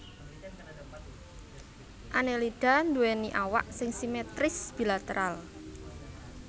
Annelida nduwèni awak sing simetris bilateral